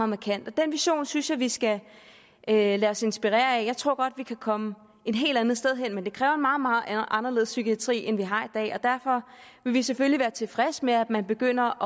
markant den vision synes jeg vi skal lade os inspirere af jeg tror godt vi kan komme et helt andet sted hen men det kræver en meget meget anderledes psykiatri end den vi har i dag og derfor vil vi selvfølgelig være tilfredse med at man begynder